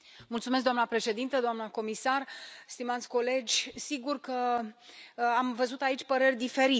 Doamnă președintă, doamnă comisar, stimați colegi, sigur că am văzut aici păreri diferite.